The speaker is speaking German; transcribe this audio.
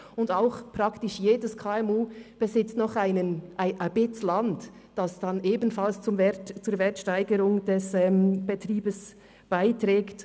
Auch besitzt praktisch jedes KMU noch ein Stück Land, das dann ebenfalls zur Wertsteigerung des Betriebs beiträgt.